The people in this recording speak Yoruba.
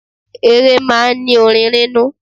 Eré máa ń ní orin nínú.